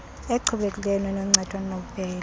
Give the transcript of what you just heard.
echubekileyo enoncedo nenobubele